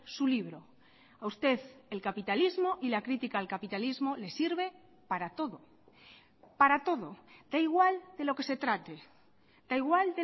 su libro a usted el capitalismo y la crítica al capitalismo le sirve para todo para todo da igual de lo que se trate da igual